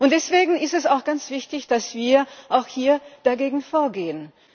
Deswegen ist es auch ganz wichtig, dass wir auch hier dagegen vorgehen.